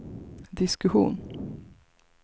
diskussion